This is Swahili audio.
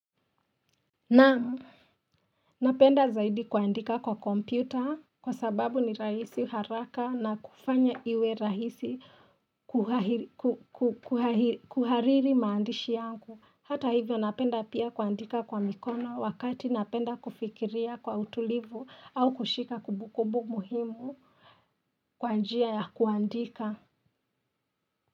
Naam napenda zaidi kuandika kwa kompyuta kwa sababu ni rahisi haraka na kufanya iwe rahisi kuhariri maandishi yangu hata hivyo napenda pia kuandika kwa mikono wakati napenda kufikiria kwa utulivu au kushika kumbukumbu muhimu kwa njia ya kuandika.